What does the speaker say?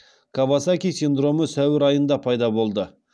кавасаки синдромы сәуір айында пайда болды